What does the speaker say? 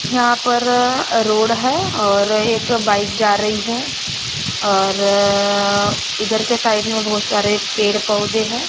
यहां पर अ रोड है और एक बाइक जा रही है और अ इधर के साइड में बहोत सारे पेड़ पौधे हैं।